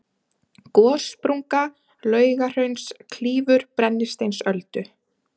gossprunga laugahrauns klýfur brennisteinsöldu